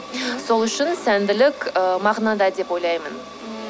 сол үшін сәнділік ыыы мағынада деп ойлаймын